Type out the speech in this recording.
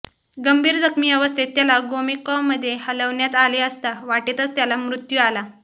गंभीर जखमी अवस्थेत त्याला गोमेकॉमध्ये हलवण्यात आले असता वाटेतच त्याला मृत्यू आला